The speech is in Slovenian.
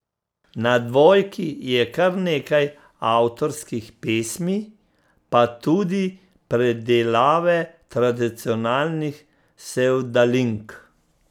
Na Dvojki je kar nekaj avtorskih pesmi pa tudi predelave tradicionalnih sevdalink.